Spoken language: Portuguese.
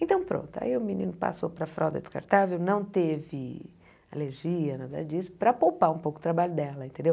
Então pronto, aí o menino passou para a fralda descartável, não teve alergia, nada disso, para poupar um pouco o trabalho dela, entendeu?